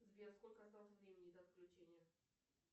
сбер сколько осталось времени до отключения